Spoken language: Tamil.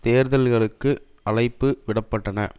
தேர்தல்களுக்கு அழைப்பு விட பட்டன